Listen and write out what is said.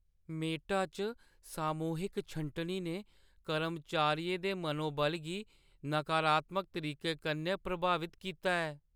Meta च सामूहिक छंटनी ने कर्मचारियें दे मनोबल गी नकारात्मक तरीके कन्नै प्रभावत कीता ऐ।